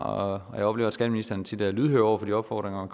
og jeg oplever at skatteministeren tit er lydhør over for de opfordringer